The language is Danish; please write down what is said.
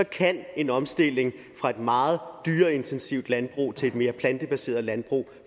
kan en omstilling fra et meget dyreintensivt landbrug til et mere plantebaseret landbrug